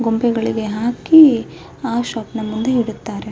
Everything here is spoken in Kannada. ಗೊಂಬೆಗಳಿಗೆ ಹಾಕಿ ಆ ಶಾಪ್ ನಾ ಮುಂದೆ ಹಿಡುತ್ತಾರೆ .